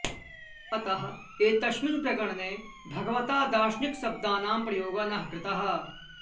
अतः एतस्मिन् प्रकरणे भगवता दार्शनिकशब्दानां प्रयोगः न कृतः